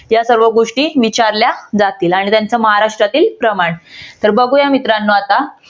या सर्व गोष्टी विचारल्या जातील आणि त्यांच महाराष्ट्रातील प्रमाण. तर बघूया मित्रानो आता